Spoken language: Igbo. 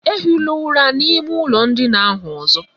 Ehila ụra n'ime ụlọ ndina ahụ ọzọ!